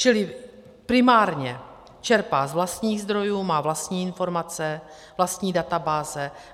Čili primárně čerpá z vlastních zdrojů, má vlastní informace, vlastní databáze.